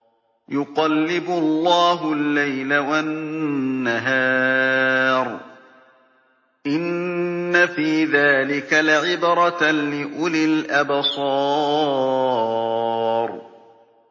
يُقَلِّبُ اللَّهُ اللَّيْلَ وَالنَّهَارَ ۚ إِنَّ فِي ذَٰلِكَ لَعِبْرَةً لِّأُولِي الْأَبْصَارِ